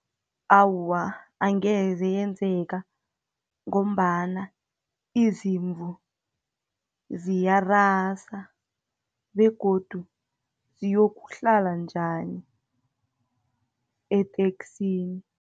Awa, angeze yenzeka, ngombana izimvu ziyarasa, begodu ziyokuhlala njani eteksini.